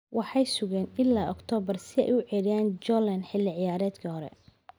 Waxay sugeen ilaa Oktoobar si ay u ceyriyaan Julen Lopetegui xilli ciyaareedkii hore.